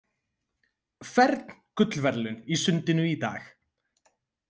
Fern gullverðlaun í sundinu í dag